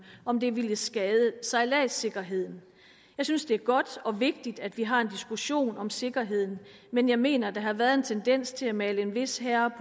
om det vil skade sejladssikkerheden jeg synes det er godt og vigtigt at vi har en diskussion om sikkerheden men jeg mener der har været en tendens til at male en vis herre